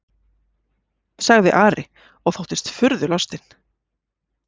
sagði Ari og þóttist furðulostinn.